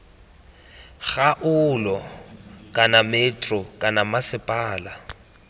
kgaolo kana metro kana mmasepala